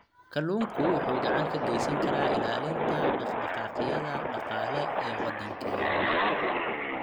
Kalluunku wuxuu gacan ka geysan karaa ilaalinta dhaqdhaqaaqyada dhaqaale ee waddankeenna.